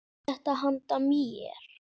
Er þetta handa mér?!